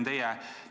Aitäh!